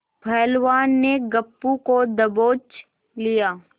पहलवान ने गप्पू को दबोच लिया